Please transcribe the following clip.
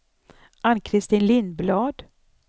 Ann-Kristin Lindblad